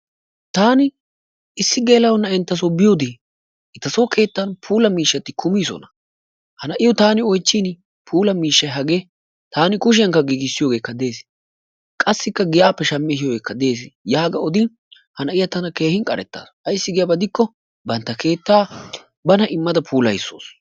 Taani issi geela'o na'eentasso biyode etason puulaa miishshaati kummiisona, ha na'iyo taani oychchiin puulaa miishshay hagee taani kushiyakka giggissiyogeeka de'ees, qassikka giyappe shammi ehiiyogeeka dees, yaaga oddin na'iya tana keehin qarettaasu ayssi gidiyaba gidikko bantta keettaa bana immada puulayissawusu.